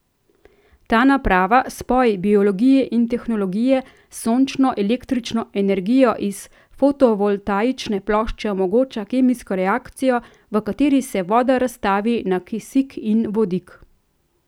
Ta naprava, spoj biologije in tehnologije, s sončno električno energijo iz fotovoltaične plošče omogoča kemijsko reakcijo, v kateri se voda razstavi na kisik in vodik.